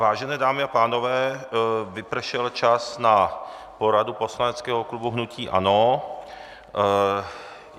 Vážené dámy a pánové, vypršel čas na poradu poslaneckého klubu hnutí ANO.